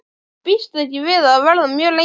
Býst ekki við að verða mjög lengi.